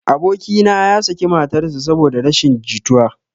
Aboki na ya saki matar sa saboda rashin jituwa